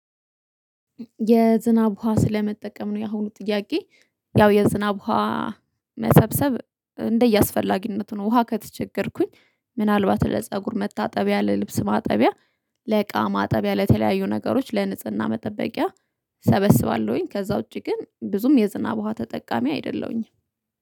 የዝናብ ውሃ ስለመጠቀም ነው ያሁኑ ጥያቄ? ያው የዝናብ ውሃ መሰብሰብ እንደየአስፈላጊነቱ ነው። ውሃ ከተቸገርኩኝ ምናልባት ለፀጉር መታጠቢያ ለልብስ ማጠቢያ። ለቃ ማጠቢያ ለተለያዩ ነገሮች ለንጽህና መጠበቂያ። ሰበስባለሁኝ ከዛ ውጪ ግን ብዙም የዝናብ ውሃ ተጠቃሚ አይደለሁኝም